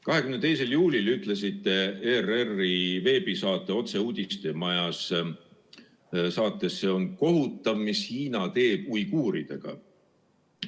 22. juulil ütlesite ERR-i veebisaates "Otse uudistemajast": "See on kohutav, mis Hiina teeb uiguuridega.